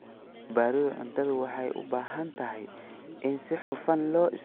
Badbaadada cuntadu waxay u baahan tahay in si hufan loo isticmaalo kheyraadka.